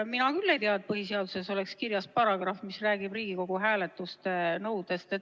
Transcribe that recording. Mina küll ei tea, et põhiseaduses oleks kirjas paragrahv, mis räägib Riigikogu hääletuse nõuetest.